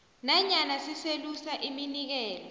nanyana siselusa iminikelo